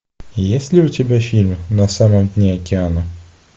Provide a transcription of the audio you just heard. есть ли у тебя фильм на самом дне океана